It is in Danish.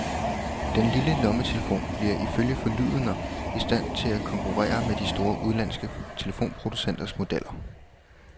Den lille lommetelefon bliver ifølge forlydender i stand til at konkurrere med de store, udenlandske telefonproducenters modeller.